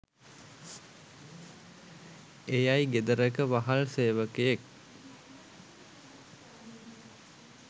එයයි ගෙදරක වහල් සේවකයෙක්